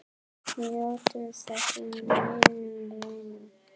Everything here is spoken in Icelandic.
Njóttu þess, minn vinur.